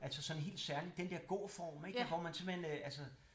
Altså sådan helt særligt den dér gå form ik hvor man simpelthen altså